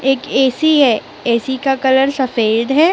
एक ए_सी है ए_सी का कलर सफेद है।